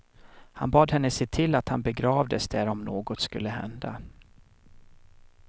Han bad henne se till att han begravdes där om något skulle hända.